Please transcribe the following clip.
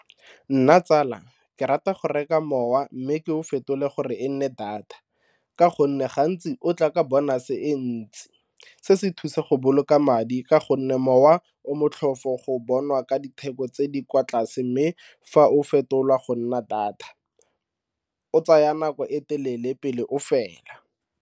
Nna tsala ke rata go reka mowa mme ke o fetole gore e nne data ka gonne gantsi o tla ka bonus-e e ntsi se se thusa go boloka madi ka go gonne mowa o motlhofo go bonwa ka ditheko tse di kwa tlase mme fa o fetolwa go nna data, o tsaya nako e telele pele o fela.